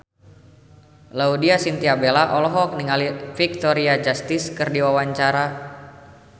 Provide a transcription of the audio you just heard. Laudya Chintya Bella olohok ningali Victoria Justice keur diwawancara